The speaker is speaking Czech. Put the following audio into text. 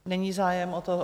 Není zájem o to.